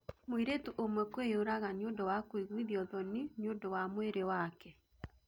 Mũirĩtu ũmwe kwĩyũraga niũndũ wa kũiguithio thoni niudũ wa mwĩrĩ wake